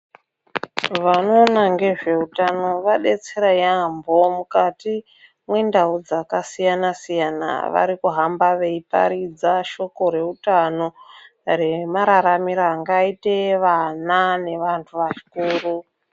Vanoona ngezveutano vadetsera yaambo mukati mwendau dzakasiyana-siyana, varikuhamba veiparidza shoko reutano remararamiro angaite vana nevantu vakuru.